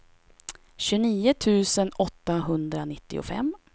tjugonio tusen åttahundranittiofem